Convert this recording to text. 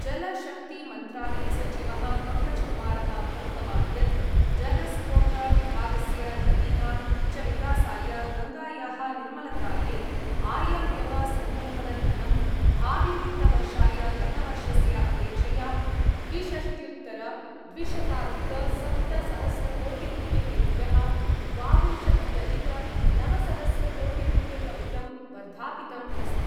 जलशक्तिमन्त्रालयसचिवः पङ्कजकुमारः प्रोक्तवान् यत् जलस्रोतविभागस्य नदीनां च विकासाय गङ्गायाः निर्मलतायै आयव्यवसङ्कल्पनधनं भाविवित्तवर्षाय गतवर्षस्य अपेक्षया द्विषष्ट्युत्तरद्विशताधिकसप्तसहस्रकोटिरुप्यकेभ्यः द्वाविंशत्यधिकनवसहस्रकोटिरुप्यकमितं वर्धापितम् अस्ति।